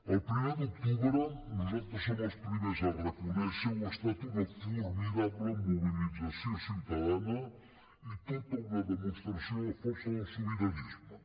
el primer d’octubre nosaltres som els primers a reconèixer ho ha estat una formidable mobilització ciutadana i tota una demostració de força del sobiranisme